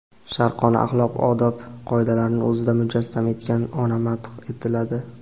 sharqona axloq-odob qoidalarini o‘zida mujassam etgan ona madh etiladi.